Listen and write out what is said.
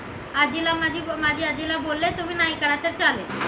आजीला माझी आजीला बोले तुम्ही नाही करायचं तर चालेल आजीला